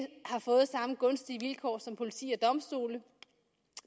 har gunstige vilkår som politi og domstole